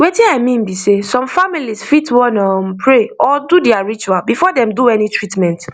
wetin i mean be sey some families fit wan um pray or do their ritual before dem do any treatment